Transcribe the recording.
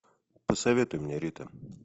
посоветуй мне рита